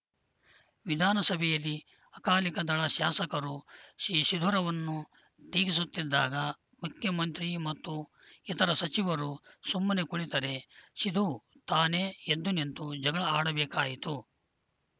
ವಿಧಾನಸಭೆಯಲ್ಲಿ ಅಕಾಲಿದಳ ಶಾಸಕರು ಸಿಧುರನ್ನು ಟೀಕಿಸುತ್ತಿದ್ದಾಗ ಮುಖ್ಯಮಂತ್ರಿ ಮತ್ತು ಇತರ ಸಚಿವರು ಸುಮ್ಮನೆ ಕುಳಿತರೆ ಸಿಧು ತಾನೇ ಎದ್ದುನಿಂತು ಜಗಳ ಆಡಬೇಕಾಯಿತು